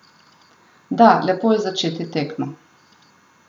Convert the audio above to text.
Da, lepo je začeti tekmo.